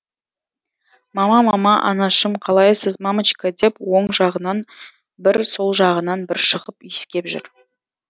мама мама анашым қалайсыз мамочка деп оң жағынан бір сол жағынан бір шығып иіскеп жүр